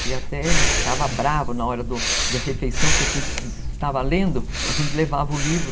que até ele ficava bravo na hora da refeição, porque se a gente estava lendo, a gente levava o livro.